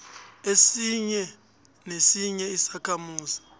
esinye nesinye isakhamuzi